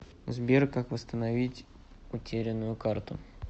сбер как вастановить утеренную карту